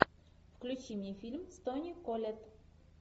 включи мне фильм с тони коллетт